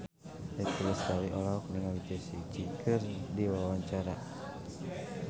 Dewi Lestari olohok ningali Jessie J keur diwawancara